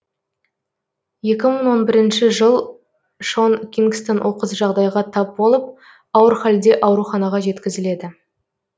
екі мың он бірінші жыл шон кингстон оқыс жағдайға тап болып ауыр халде ауруханаға жеткізіледі